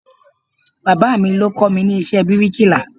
Bàbáà mi ló kọ́ mi ní iṣẹ́ bíríkìlà.